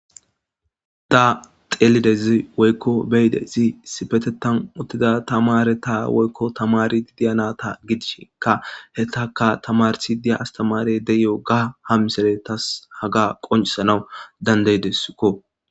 hudda xeelidezi woykko beyidezi sifetetan uttida tamare ta woykko tamari diyanata gidishika he taka tamarsi diya astamare deyo ga hamsere tas haga qoncisanawu dandeydeskko